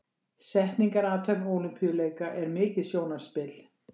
Setningarathöfn Ólympíuleika er mikið sjónarspil.